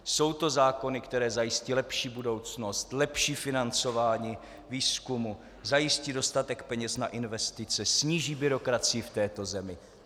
Jsou to zákony, které zajistí lepší budoucnost, lepší financování výzkumu, zajistí dostatek peněz na investice, sníží byrokracii v této zemi?